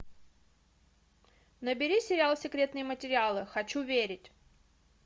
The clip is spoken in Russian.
набери сериал секретные материалы хочу верить